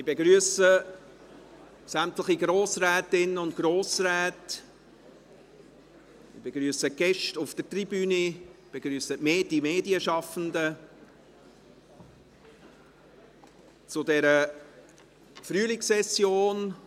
Ich begrüsse sämtliche Grossrätinnen und Grossräte, ich begrüsse die Gäste auf der Tribüne und die Medienschaffenden zu dieser Frühlingssession.